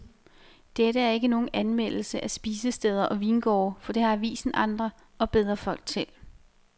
Dette er ikke nogen anmeldelse af spisesteder og vingårde, for det har avisen andre og bedre folk til.